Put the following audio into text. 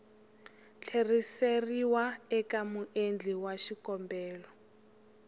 tlheriseriwa eka muendli wa xikombelo